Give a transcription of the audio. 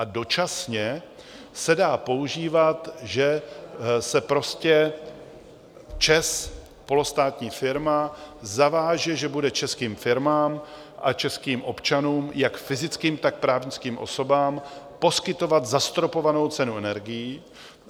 A dočasně se dá používat, že se prostě ČEZ, polostátní firma, zaváže, že bude českým firmám a českým občanům, jak fyzickým, tak právnickým osobám, poskytovat zastropovanou cenu energií.